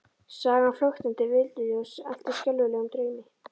Sagan flöktandi villuljós elt í skelfilegum draumi?